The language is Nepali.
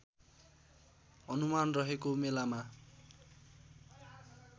अनुमान रहेको मेलामा